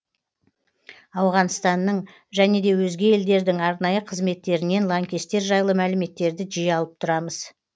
ауғанстанның және де өзге елдердің арнайы қызметтерінен лаңкестер жайлы мәліметтерді жиі алып тұрамыз